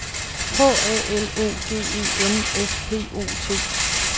H A L O G E N S P O T